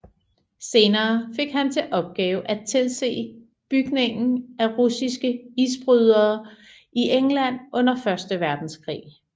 Senere fik han til opgave at tilse bygningen af russiske isbrydere i England under Første Verdenskrig